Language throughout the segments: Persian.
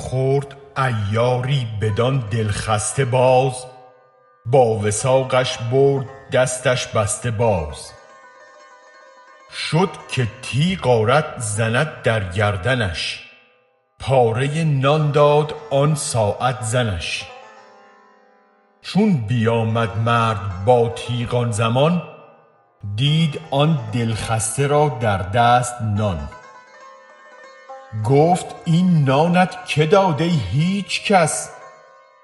خورد عیاری بدان دل خسته باز با وثاقش برد دستش بسته باز شد که تیغ آرد زند در گردنش پاره نان داد آن ساعت زنش چون بیامد مرد با تیغ آن زمان دید آن دل خسته را در دست نان گفت این نانت که داد ای هیچ کس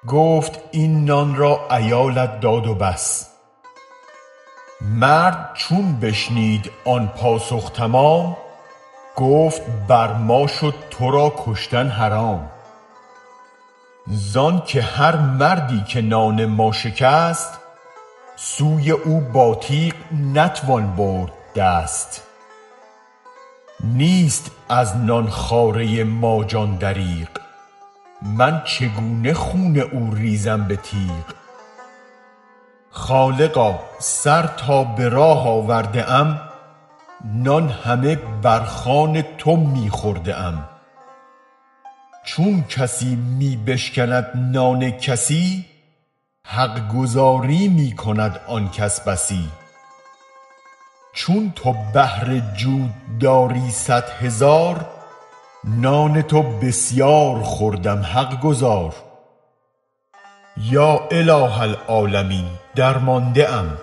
گفت این نان را عیالت داد و بس مرد چون بشنید آن پاسخ تمام گفت بر ما شد ترا کشتن حرام زانک هر مردی که نان ما شکست سوی او با تیغ نتوان برد دست نیست از نان خواره ما جان دریغ من چگونه خون او ریزم به تیغ خالقا سر تا به راه آورده ام نان همه بر خوان تو می خورده ام چون کسی می بشکند نان کسی حق گزاری می کند آن کس بسی چون تو بحر جود داری صد هزار نان تو بسیار خوردم حق گزار یا اله العالمین درمانده ام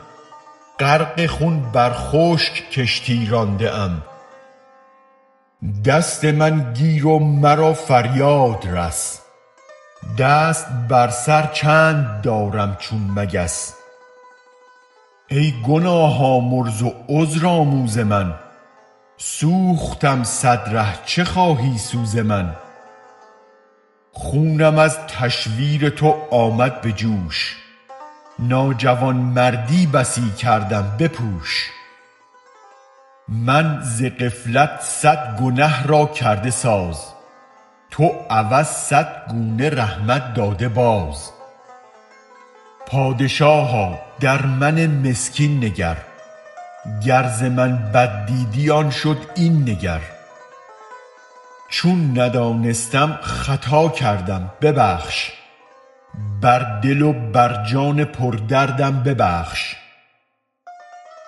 غرق خون بر خشک کشتی رانده ام دست من گیر و مرا فریاد رس دست بر سر چند دارم چون مگس ای گناه آمرز و عذرآموز من سوختم صد ره چه خواهی سوز من خونم از تشویر تو آمد به جوش ناجوان مردی بسی کردم بپوش من ز غفلت صد گنه را کرده ساز تو عوض صد گونه رحمت داده باز پادشاها در من مسکین نگر گر ز من بد دیدی آن شد این نگر چون ندانستم خطا کردم ببخش بر دل و بر جان پر دردم ببخش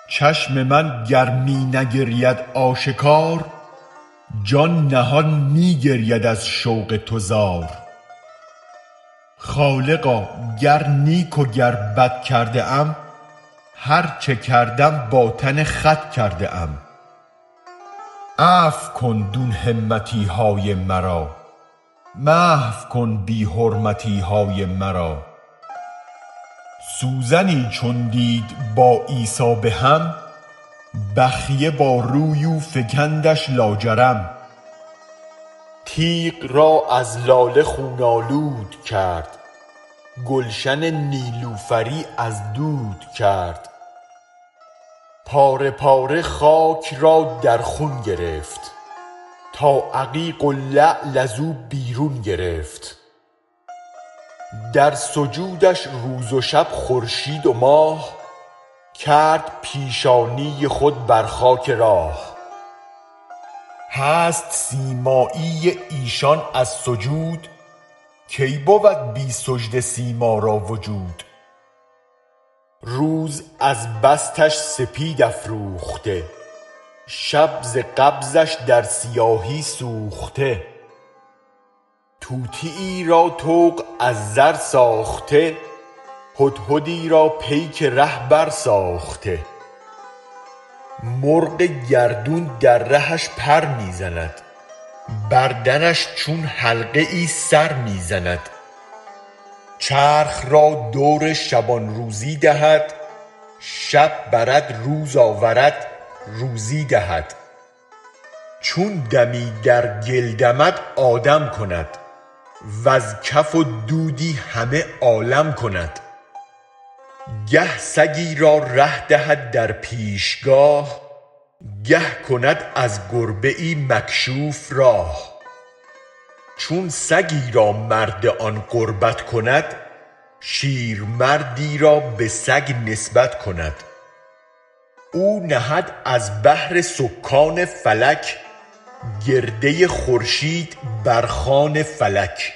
چشم من گر می نگرید آشکار جان نهان می گرید از شوق تو زار خالقا گر نیک و گر بد کرده ام هرچه کردم با تن خود کرده ام عفو کن دون همتیهای مرا محو کن بی حرمتیهای مرا سوزنی چون دید با عیسی به هم بخیه با روی او فکندش لاجرم تیغ را از لاله خون آلود کرد گلشن نیلوفری از دود کرد پاره پاره خاک را در خون گرفت تا عتیق و لعل از و بیرون گرفت در سجودش روز و شب خورشید و ماه کرد پیشانی خود بر خاک راه هست سیمایی ایشان از سجود کی بود بی سجده سیما را وجود روز از بسطش سپید افروخته شب ز قبضش در سیاهی سوخته طوطیی را طوق از زر ساخته هدهدی را پیک ره برساخته مرغ گردون در رهش پر می زند بر درش چون حلقه ای سر می زند چرخ را دور شبان روزی دهد شب برد روز آورد روزی دهد چون دمی در گل دمد آدم کند وز کف و دودی همه عالم کند گه سگی را ره دهد در پیشگاه گه کند از گربه ای مکشوف راه چون سگی را مرد آن قربت کند شیرمردی را به سگ نسبت کند او نهد از بهر سکان فلک گرده خورشید بر خوان فلک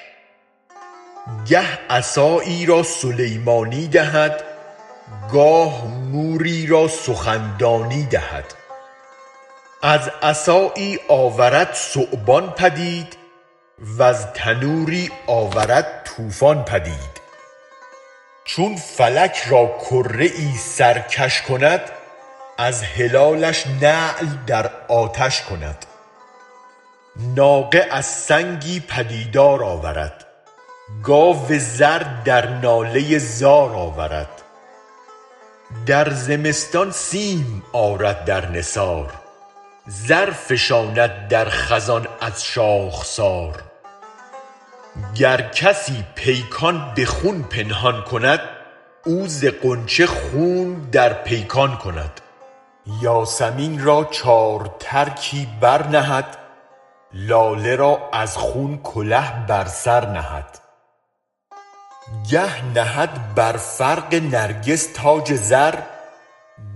گه عصایی را سلیمانی دهد گاه موری را سخن دانی دهد از عصایی آورد ثعبان پدید وز تنوری آورد طوفان پدید چون فلک را کره ای سرکش کند از هلالش نعل در آتش کند ناقه از سنگی پدیدار آورد گاو زر در ناله زار آورد در زمستان سیم آرد در نثار زر فشاند در خزان از شاخسار گر کسی پیکان به خون پنهان کند او ز غنچه خون در پیکان کند یاسمین را چار ترکی برنهد لاله را از خون کله بر سر نهد گه نهد بر فرق نرگس تاج زر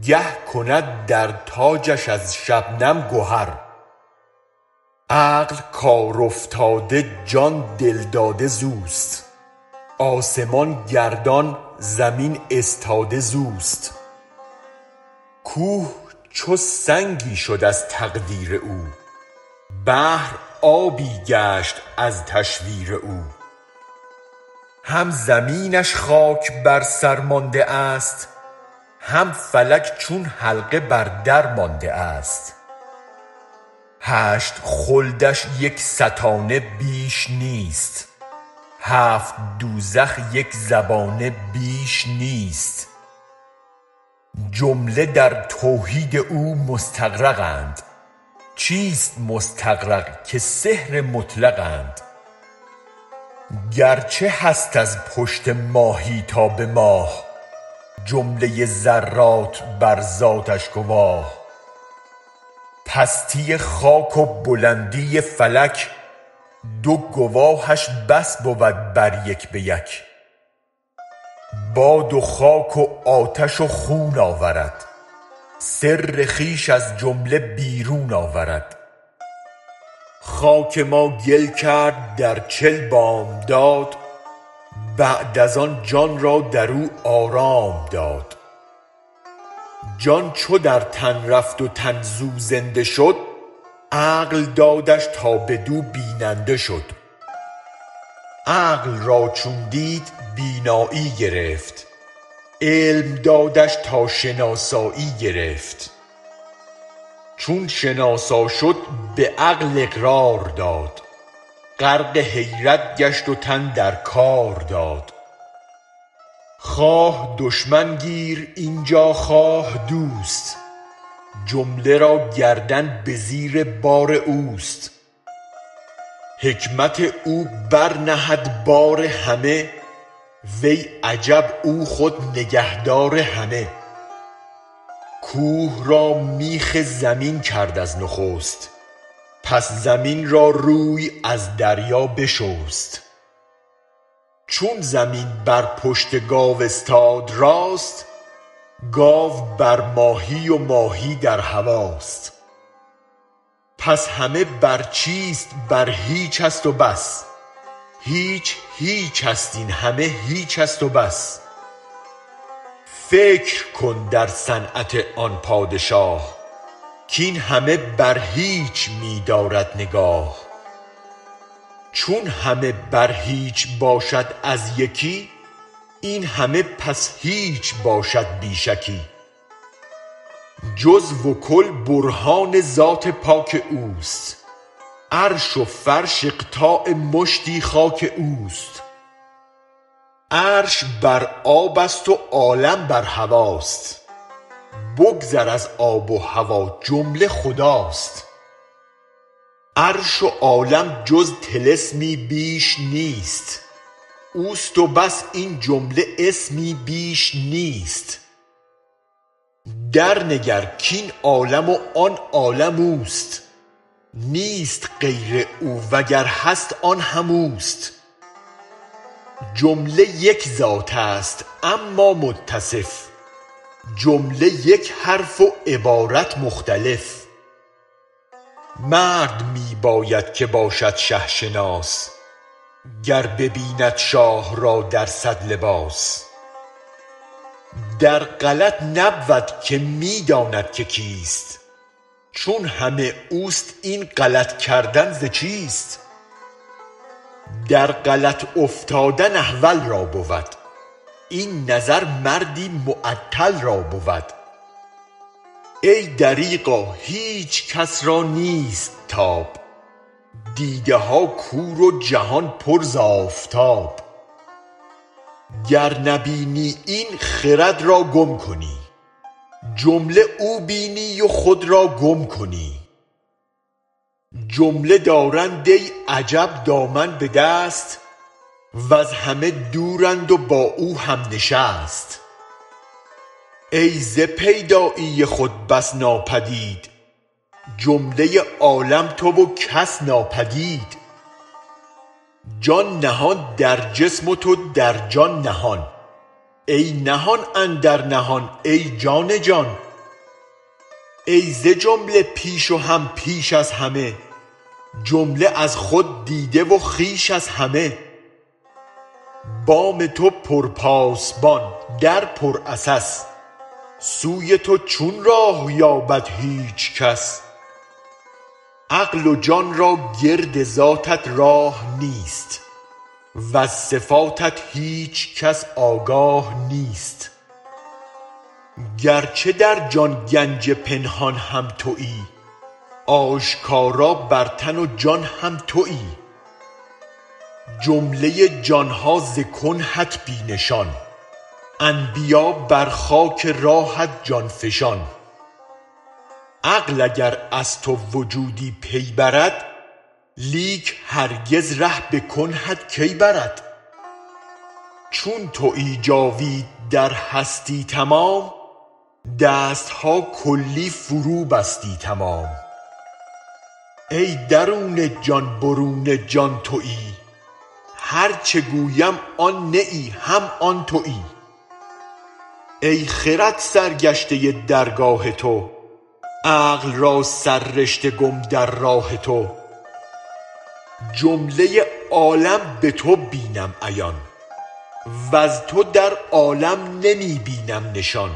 گه کند در تاجش از شبنم گهر عقل کار افتاده جان دل داده زوست آسمان گردان زمین استاده زوست کوه چون سنگی شد از تقدیر او بحر آبی گشت از تشویر او هم زمینش خاک بر سر مانده است هم فلک چون حلقه بر در مانده است هشت خلدش یک ستانه بیش نیست هفت دوزخ یک زبانه بیش نیست جمله در توحید او مستغرق اند چیست مستغرق که سحر مطلق اند گرچه هست از پشت ماهی تا به ماه جمله ذرات بر ذاتش گواه پستی خاک و بلندی فلک دو گواهش بس بود بر یک به یک باد و خاک و آتش و خون آورد سر خویش از جمله بیرون آورد خاک ما گل کرد در چل بامداد بعد از آن جان را درو آرام داد جان چو در تن رفت و تن زو زنده شد عقل دادش تا به دو بیننده شد عقل را چون دید بینایی گرفت علم دادش تا شناسایی گرفت چون شناسا شد به عقل اقرار داد غرق حیرت گشت و تن در کار داد خواه دشمن گیر اینجا خواه دوست جمله را گردن به زیر بار اوست حکمت او بر نهد بار همه وای عجب او خود نگه دار همه کوه را میخ زمین کرد از نخست پس زمین را روی از دریا بشست چون زمین بر پشت گاو استاد راست گاو بر ماهی و ماهی در هواست پس همه بر چیست بر هیچ است و بس هیچ هیچست این همه هیچست و بس فکر کن در صنعت آن پادشاه کین همه بر هیچ می دارد نگاه چون همه بر هیچ باشد از یکی این همه پس هیچ باشد بی شکی جزو و کل برهان ذات پاک اوست عرش و فرش اقطاع مشتی خاک اوست عرش بر آبست و عالم بر هواست بگذر از آب و هوا جمله خداست عرش و عالم جز طلسمی بیش نیست اوست و بس این جمله اسمی بیش نیست درنگر کین عالم و آن عالم اوست نیست غیر او وگر هست آن هم اوست جمله یک ذاتست اما متصف جمله یک حرف و عبارت مختلف مرد می باید که باشد شه شناس گر ببیند شاه را در صد لباس در غلط نبود که می داند که کیست چون همه اوست این غلط کردن ز چیست در غلط افتادن احول را بود این نظر مردی معطل را بود ای دریغا هیچ کس رانیست تاب دیدها کور و جهان پر ز آفتاب گر نبینی این خرد را گم کنی جمله او بینی و خود را گم کنی جمله دارند ای عجب دامن به دست وز همه دورند و با او هم نشست ای ز پیدایی خود بس ناپدید جمله عالم تو و کس ناپدید جان نهان در جسم و تو در جان نهان ای نهان اندر نهان ای جان جان ای ز جمله پیش و هم پیش از همه جمله از خود دیده و خویش از همه بام تو پر پاسبان در پر عسس سوی تو چون راه یابد هیچ کس عقل و جان را گرد ذاتت راه نیست وز صفاتت هیچ کس آگاه نیست گرچه در جان گنج پنهان هم تویی آشکارا بر تن و جان هم تویی جمله جانها ز کنهت بی نشان انبیا بر خاک راهت جان فشان عقل اگر از تو وجودی پی برد لیک هرگز ره به کنهت کی برد چون تویی جاوید در هستی تمام دستها کلی فرو بستی تمام ای درون جان برون جان تویی هرچه گویم آن نه ای هم آن تویی ای خرد سرگشته درگاه تو عقل را سر رشته گم در راه تو جمله عالم به تو بینم عیان وز تو در عالم نمی بینم نشان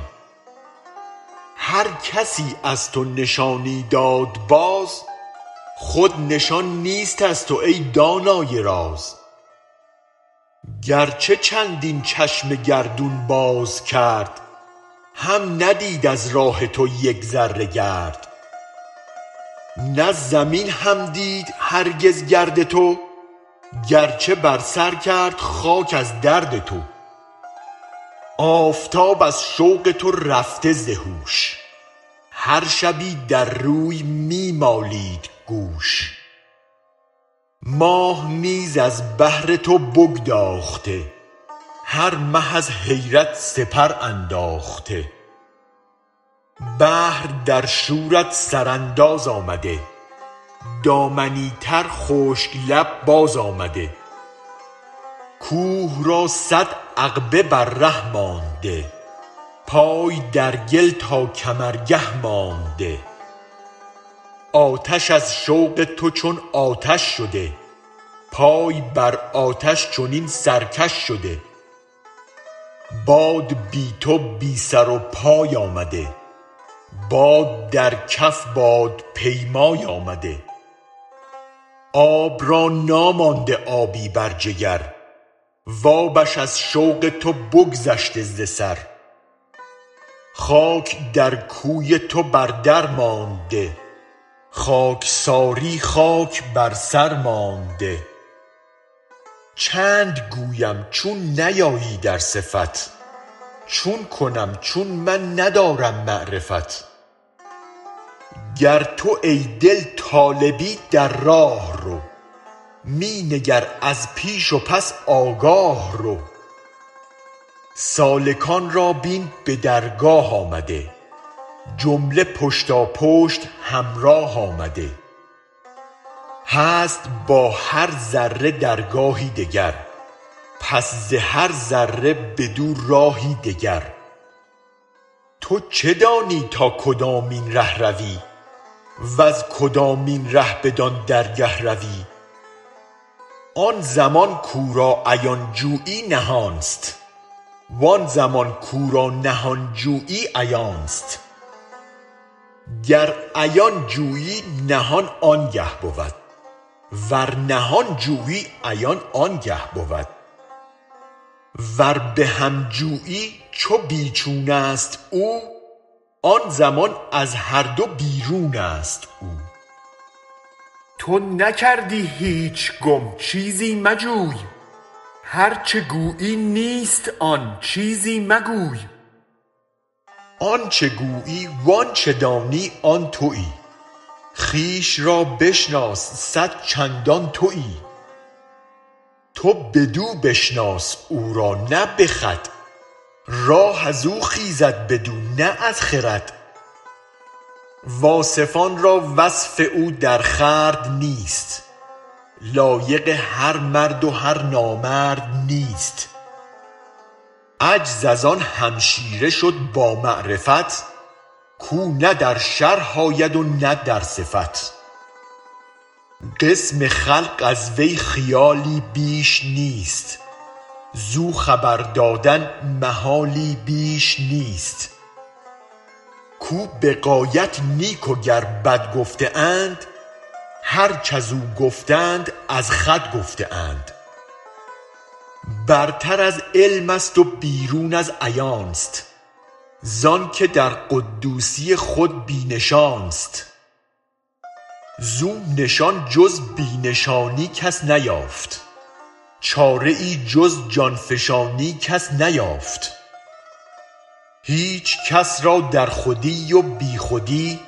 هرکسی از تو نشانی داد باز خود نشان نیست از تو ای دانای راز گرچه چندین چشم گردون بازکرد هم ندید از راه تو یک ذره گرد نه زمین هم دید هرگز گرد تو گرچه بر سرکرد خاک از درد تو آفتاب از شوق تو رفته ز هوش هر شبی در روی می مالید گوش ماه نیز از بهر تو بگداخته هر مه از حیرت سپرانداخته بحر در شورت سرانداز آمده دامنی تر خشک لب باز آمده کوه را صد عقبه بر ره مانده پای در گل تا کمرگه مانده آتش از شوق تو چون آتش شده پای بر آتش چنین سرکش شده باد بی تو بی سر و پای آمده باد در کف بادپیمای آمده آب را نامانده آبی بر جگر وآبش از شوق تو بگذشته ز سر خاک در کوی تو بر در مانده خاکساری خاک بر سرمانده چند گویم چون نیایی در صفت چون کنم چون من ندارم معرفت گر تو ای دل طالبی در راه رو می نگر از پیش و پس آگاه رو سالکان را بین به درگاه آمده جمله پشتاپشت همراه آمده هست با هر ذره درگاهی دگر پس ز هر ذره بدو راهی دگر تو چه دانی تا کدامین ره روی وز کدامین ره بدان درگه روی آن زمان کورا عیان جویی نهانست و آن زمان کورا نهان جویی عیانست گر عیان جویی نهان آنگه بود ور نهان جویی عیان آنگه بود ور بهم جویی چو بی چونست او آن زمان از هر دو بیرونست او تو نکردی هیچ گم چیزی مجوی هرچه گویی نیست آن چیزی مگوی آنچ گویی و انچ دانی آن تویی خویش رابشناس صد چندان تویی تو بدو بشناس او را نه به خود راه ازو خیزد بدو نه از خرد واصفان را وصف او درخورد نیست لایق هر مرد و هر نامرد نیست عجز از آن همشیره شد با معرفت کو نه در شرح آید و نه در صفت قسم خلق از وی خیالی بیش نیست زو خبر دادن محالی بیش نیست کو به غایت نیک و گر بد گفته اند هرچ ازو گفتند از خود گفته اند برتر از علمست و بیرون از عیانست زانک در قدوسی خود بی نشانست زو نشان جز بی نشانی کس نیافت چاره ای جز جان فشانی کس نیافت هیچ کس را در خودی و بی خودی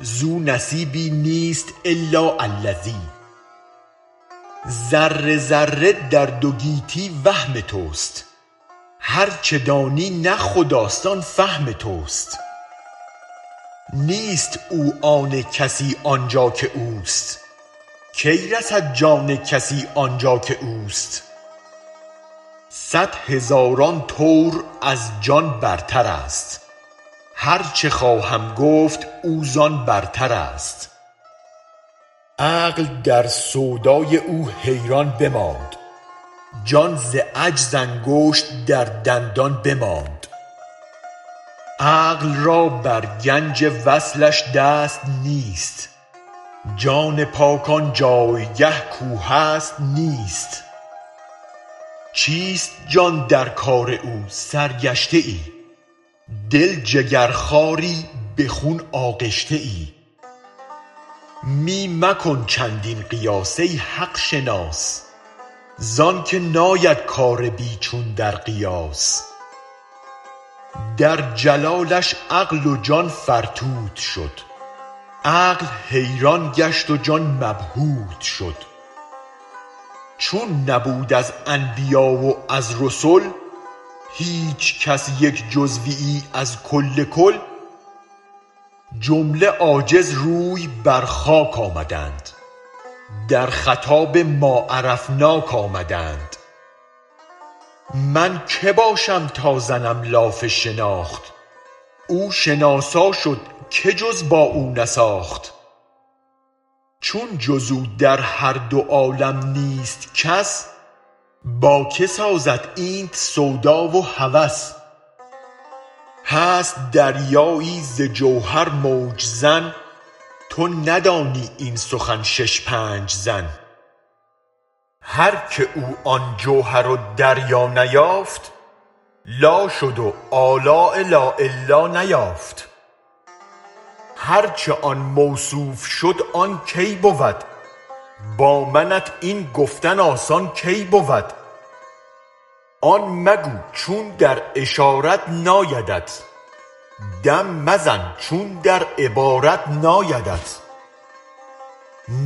زو نصیبی نیست الا الذی ذره ذره در دو گیتی وهم تست هرچ دانی نه خداست آن فهم تست نیست او آن کسی آنجا که اوست کی رسد جان کسی آنجا که اوست صد هزاران طور از جان بر ترست هرچ خواهم گفت او زان برتراست عقل در سودای او حیران بماند جان ز عجز انگشت در دندان بماند عقل را بر گنج وصلش دست نیست جان پاک آنجایگه کو هست نیست چیست جان در کار او سرگشته ای دل جگر خواری به خون آغشته ای می مکن چندین قیاس ای حق شناس زانک ناید کار بی چون در قیاس در جلالش عقل و جان فرتوت شد عقل حیران گشت و جان مبهوت شد چون نبود از انبیاء و از رسل هیچ کس یک جزویی از کل کل جمله عاجز روی بر خاک آمدند در خطاب ماعرفناک آمدند من که باشم تا زنم لاف شناخت او شناسا شد که جز با او نساخت چون جز او در هر دو عالم نیست کس با که سازد اینت سودا و هوس هست دریایی ز جوهر موج زن تو ندانی این سخن شش پنج زن هرکه او آن جوهر و دریا نیافت لا شد و الاء لاالا نیافت هرچ آن موصوف شد آن کی بود با منت این گفتن آسان کی بود آن مگو چون در اشارت نایدت دم مزن چون در عبارت نایدت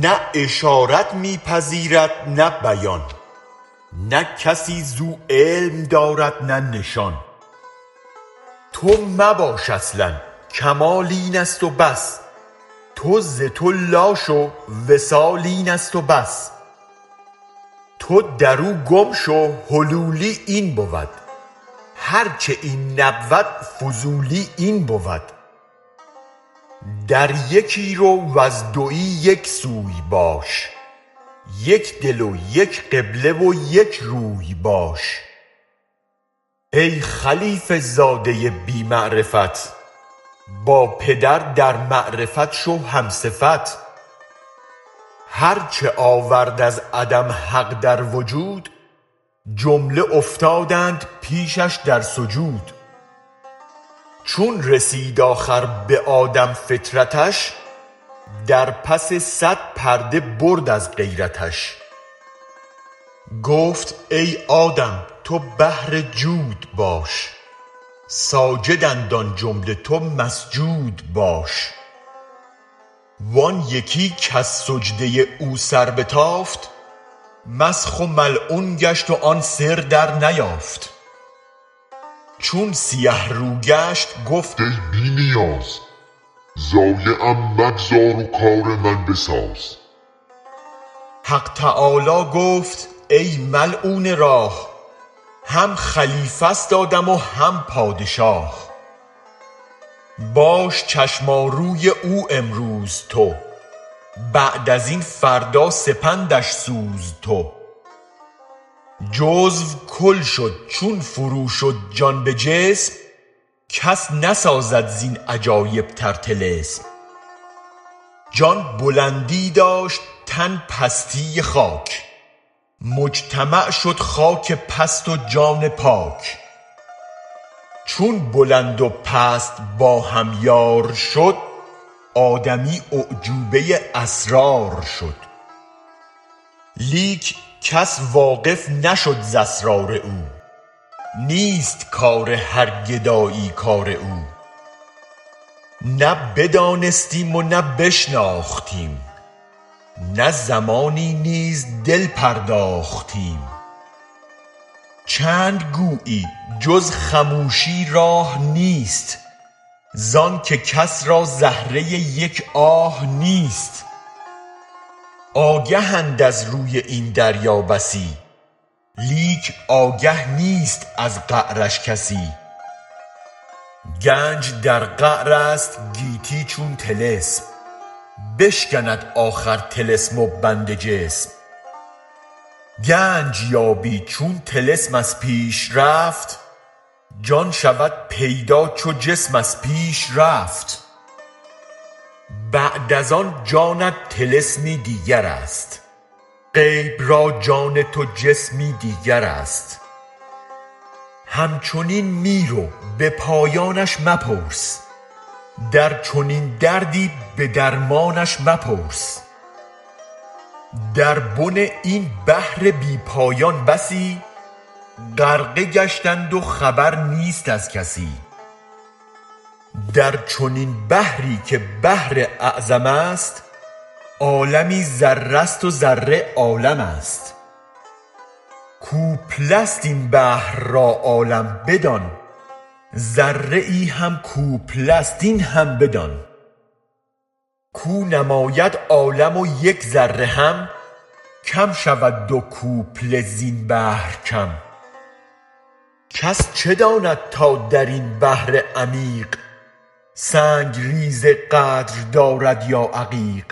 نه اشارت می پذیرد نه بیان نه کسی زو علم دارد نه نشان تو مباش اصلا کمال اینست و بس تو ز تو لا شو وصال اینست و بس تو درو گم شو حلولی این بود هرچ این نبود فضولی این بود در یکی رو و از دوی یک سوی باش یک دل و یک قبله و یک روی باش ای خلیفه زاده بی معرفت با پدر در معرفت شو هم صفت هرچ آورد از عدم حق در وجود جمله افتادند پیشش در سجود چون رسید آخر به آدم فطرتش در پس صد پرده برد از غیرتش گفت ای آدم تو بحر جود باش ساجدند آن جمله تو مسجود باش و آن یکی کز سجده او سربتافت مسخ و ملعون گشت و آن سر درنیافت چون سیه رو گشت گفت ای بی نیاز ضایعم مگذار و کار من بساز حق تعالی گفت ای ملعون راه هم خلیفست آدم و هم پادشاه باش چشماروی او امروز تو بعد ازین فردا سپندش سوز تو جزو کل شد چون فرو شد جان به جسم کس نسازد زین عجایب تر طلسم جان بلندی داشت تن پستی خاک مجتمع شد خاک پست و جان پاک چون بلند و پست با هم یار شد آدمی اعجوبه اسرار شد لیک کس واقف نشد ز اسرار او نیست کار هر گدایی کار او نه بدانستیم و نه بشناختیم نه زمانی نیز دل پرداختیم چند گویی جز خموشی راه نیست زانک کس را زهره یک آه نیست آگهند از روی این دریا بسی لیک آگه نیست از قعرش کسی گنج در قعرست گیتی چون طلسم بشکند آخر طلسم و بند جسم گنج یابی چون طلسم از پیش رفت جان شود پیدا چو جسم از پیش رفت بعد از آن جانت طلسمی دیگرست غیب را جان تو جسمی دیگرست همچنین می رو به پایانش مپرس در چنین دردی به درمانش مپرس در بن این بحر بی پایان بسی غرقه گشتند و خبر نیست از کسی در چنین بحری که بحر اعظمست عالمی ذره ست و ذره عالمست کوپله ست این بحر را عالم بدان ذره هم کوپله ست این هم بدان کو نماید عالم و یک ذره هم کم شود دو کوپله زین بحر کم کس چه داند تا درین بحر عمیق سنگ ریزه قدر دارد یا عقیق